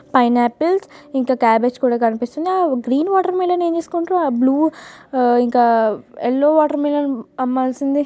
Pineapples ఇంకా cabbage కూడా కనిపిస్తుంది. ఆ గ్రీన్ వాటర్ మిలన్ ఏం చేసుకుంటారో అ బ్ల్యూ ఆ ఇంకా ఆ ఎల్లో వాటర్ మిలన్ అమ్మాల్సింది.